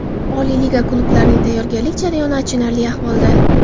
Oliy liga klublarining tayyorgarlik jarayoni achinarli ahvolda.